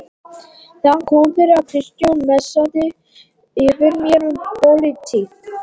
Það kom fyrir að Kristján messaði yfir mér um pólitík.